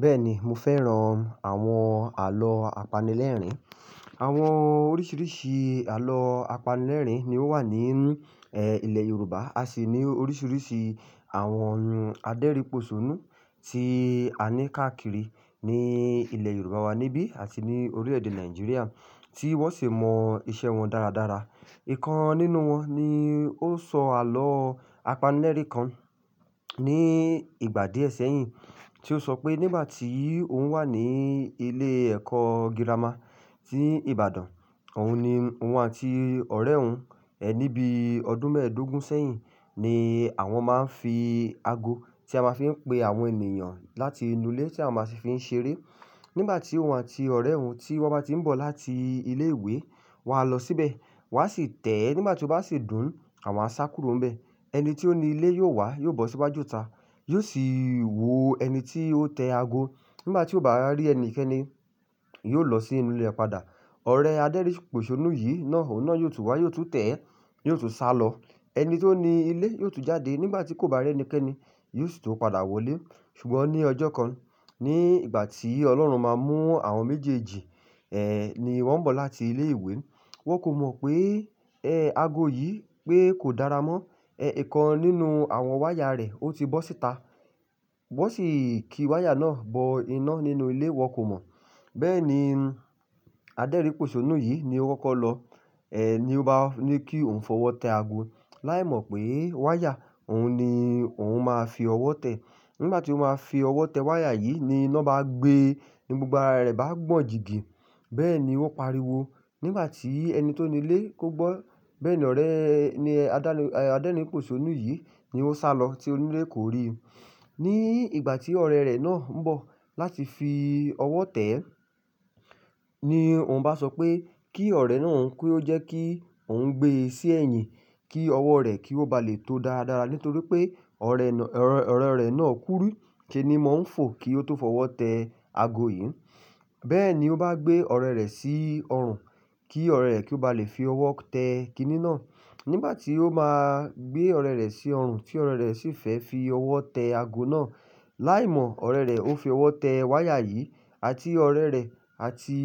Bẹ́ẹ̀ni, mo fẹ́ran àwọn àlọ́ apanilẹ́rìn. Àwọn oríṣiríṣi àlọ́ apanilẹ́rìn ni ó wà nínú, ẹ́, ilẹ̀ Yorùbá. A sì ní oríṣiríṣi àwọn adérìposónú tí a ní káàkiri ní ilẹ̀ Yorùbá wa níbí àti ní oríẹ̀ẹ́dè Nigeria tí wọ́n sì mọ iṣẹ́ wọn dáradára. Ìkan nínú wọn ni ó sọ àlọ́ apanilẹ́rìn kan ní ìgbà díẹ̀ sẹ́yìn tí ó sọ pé nígbà tí òun wà ní ilé ẹ̀kọ́ girama tí Ìbàdàn, òun ni òun àti ọ̀rẹ́ òun, ẹ́, níbí ọdún mẹ́ẹ̀dógún sẹ́yìn ni àwọn máa ń fi aago tí a máa fi ń pe àwọn ènìyàn láti inú ilé tí a máa sì fi ń ṣeré. Nígbà tí òun àti ọ̀rẹ́ òun tí wọ́n bá ti ń bọ̀ láti ilé ìwé, wọ́n á lọ síbẹ̀, wọ́n á sì tẹ̀ ẹ́ nígbà tí ó bá sì dùn, àwọn á sá kúrò n bẹ́ẹ̀. Ẹni tí ó ní ilé yóò wá, yóò bọ́ síwáju ta, yóò sì wo ẹni tí ó tẹ aago. Nígbà tí ó bá rí ẹnikẹ́ni, yóò lọ sí inú ilé ẹpadà. Ọ̀rẹ́ adérìposónú yìí náà, òun náà yóò tún wá, yóò tún tẹ̀ ẹ́, yóò tún sá lọ. Ẹni tó ní ilé yóò tún jáde. Nígbà tí kò bá rí ẹnikẹ́ni, yóò sì tún padà wọlé. Ṣùgbọ́n ní ọjọ́ kan, ní ìgbà tí Ọlọ́run máa mú àwọn méjèèjì, ẹ́, ni wọ́n ń bọ̀ láti ilé ìwé, wọ́n kò mọ̀ pé, ẹ́, aago yìí pé kò dára mọ́. Ẹ̀, ìkan nínú àwọn wáyà rẹ̀ ó ti bọ́ síta. Wọ́n sì ki wáyà náà bọ inú ilé, wọ́n kò mọ̀. Bẹ́ẹ̀ ni adérìposónú yìí ni ó kọ́kọ́ lọ, ẹ́, ni ó bá ní kí òun fọwọ́ tẹ aago, láìmọ̀ pé wáyà òun ni òun máa fi ọwọ́ tẹ̀ ẹ́. Nígbà tí ó máa fi ọwọ́ tẹ wáyà yìí ni iná bá gbe, ni gbogbo ara rẹ̀ bá gbọ̀n jìgì. Bẹ́ẹ̀ ni wọ́n pariwo. Nígbà tí ẹni tó ní ilé kó gbọ́, bẹ́ẹ̀ ni ọ̀rẹ́ ni adá-adẹrinposónú yìí ni ó sálọ tí onílè kò rí. Ní ìgbà tí ọ̀rẹ́ rẹ̀ náà ń bọ̀ láti fi ọwọ́ tẹ̀ ẹ́ ni òun bá sọ pé kí ọ̀rẹ́ náà ń kú ó jẹ́ kí òun gbe sí ẹ̀yìn kí ọwọ́ rẹ̀ kí ó ba lè tó dáradára nítorí pé ọ̀rẹ́-ọ̀rẹ́ rẹ̀ náà kúrú kí ni mò ń fò kí ó tó fọwọ́ tẹ aago yìí. Bẹ́ẹ̀ ni ó bá gbé ọ̀rẹ́ rẹ̀ sí ọrùn kí ọ̀rẹ́ rẹ̀ kí ó ba lè fi ọwọ́ tẹ kiní náà. Nígbà tí ó máa gbé ọ̀rẹ́ rẹ̀ sí ọrùn tí ọ̀rẹ́ rẹ̀ sì fẹ́ fi ọwọ́ tẹ aago náà, láìmọ̀ ọ̀rẹ́ rẹ̀ ó fi ọwọ́ tẹ wáyà yìí àti ọ̀rẹ́ rẹ̀ àti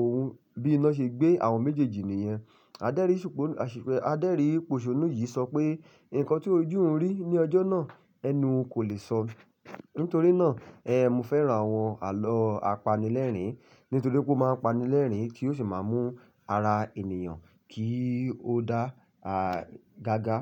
òun bí iná ṣe gbé àwọn méjèèjì ni ìyẹn. Adérìsípọ-adérìposónú yìí sọ pé ǹkan tí ojú ń rí ní ọjọ́ náà, ẹnu kò lè sọ. Nítorí náà, ẹ́, mo fẹ́ran àwọn àlọ́ apanilẹ́rìn nítorí pé ó máa ń pani lẹ́rìn kí ó sì máa mú ara ènìyàn kí ó dá, à, gágá.